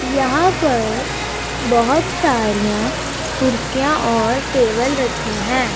यहां पर बहोत सारियां कुर्सियां और टेबल रखी हैं।